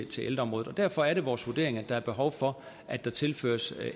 til ældreområdet derfor er det vores vurdering at der er behov for at der tilføres